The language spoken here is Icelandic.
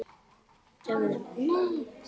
Við sögðum nei!